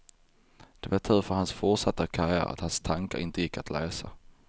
Det var tur för hans fortsatta karriär att hans tankar inte gick att läsa.